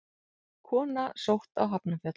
Kona sótt á Hafnarfjall